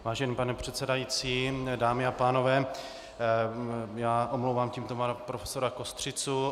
Vážený pane předsedající, dámy a pánové, já omlouvám tímto pana profesora Kostřicu.